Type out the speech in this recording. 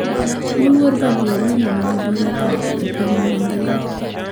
Moluor babu owino ni gi mbii mathoth e piny magima